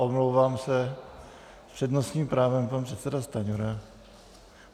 Omlouvám se, s přednostním právem pan předseda Stanjura.